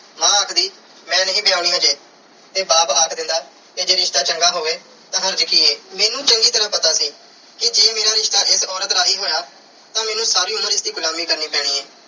ਮਾਂ ਆਖਦੀ ਮੈਂ ਨਹੀਂ ਵਿਆਹੁਣੀ ਅਜੇ ਤੇ ਬਾਪ ਆਖ ਦਿੰਦਾ ਤੇ ਜੇ ਰਿਸ਼ਤਾ ਚੰਗਾ ਹੋਵੇ ਤਾਂ ਹਰਜ ਕੀ ਐ। ਮੈਨੂੰ ਚੰਗੀ ਤਰ੍ਹਾਂ ਪਤਾ ਸੀ ਕਿ ਜੇ ਮੇਰਾ ਰਿਸ਼ਤਾ ਇਸ ਔਰਤ ਰਾਹੀਂ ਹੋਇਆ ਤਾਂ ਮੈਨੂੰ ਸਾਰੀ ਉਮਰ ਇਸ ਦੀ ਗੁਲਾਮੀ ਕਰਨੀ ਪੈਣੀ ਐ